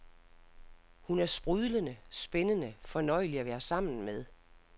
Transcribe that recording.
Hun er sprudlende, spændende, fornøjelig at være sammen med.